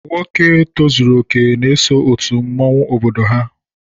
Nwoke tozuru okè n'eso òtù mmọnwu obodo ha.